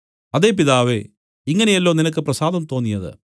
അതേ പിതാവേ ഇങ്ങനെയല്ലോ നിനക്ക് പ്രസാദം തോന്നിയത്